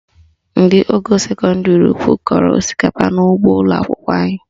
Ndị ogo sekọndịrị ukwu kọrọ osikapa n'ụgbọ ụlọakwụkwọ anyị